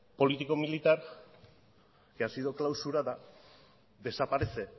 político militar que ha sido clausurada desaparece